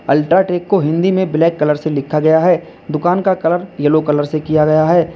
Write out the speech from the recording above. UltraTech को हिंदी में black colour से लिखा गया है दुकान का कलर येलो कलर से किया गया है।